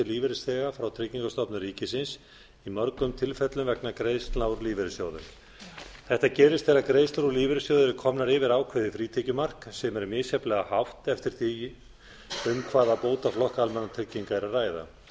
lífeyrisþega frá tryggingastofnun ríkisins í mörgum tilfellum vegna greiðslna úr lífeyrissjóðum þetta gerist þegar greiðslur úr lífeyrissjóði eru komnar yfir ákveðið frítekjumark sem er misjafnlega hátt eftir því um hvaða bótaflokka almannatrygginga er að ræða